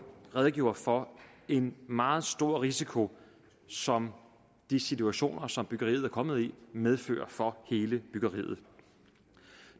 redegjorde for en meget stor risiko som de situationer som byggeriet er kommet i medfører for hele byggeriet